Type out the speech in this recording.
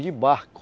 de barco.